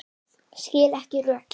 Skil ekki rökin.